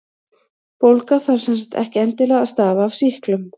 Bólga þarf sem sagt ekki endilega að stafa af sýklum.